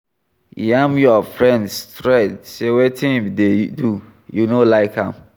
Yarn your friend straight sey wetin im do you no like am